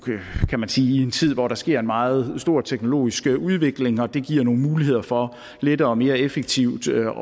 kan man sige i en tid hvor der sker en meget stor teknologisk udvikling og det giver nogle muligheder for lettere og mere effektivt at